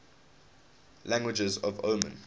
languages of oman